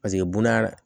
Paseke bonda